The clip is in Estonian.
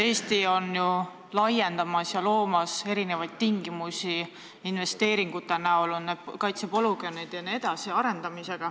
Eesti laiendab ja loob tingimusi investeeringute abil, näiteks arendades katsepolügoone.